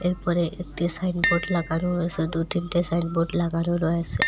এরপরে একটি সাইনবোর্ড লাগানো রয়েসে দু তিনটে সাইনবোর্ড লাগানো রয়েসে ।